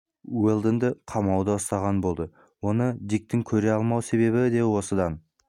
уэлдонды қамауда ұстаған болды оны диктің көре алмау себебі де осыдан